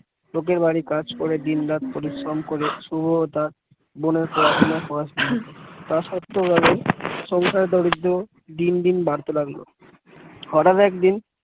লোকের বাড়ি কাজ করে দিনরাত পরিশ্রম করে শুভ তার বোনের পড়াশোনা পড়াচ্ছিল তা সত্ত্বেও সংসারের দারিদ্র্য দিন দিন বাড়তে লাগলো হঠাৎ একদিন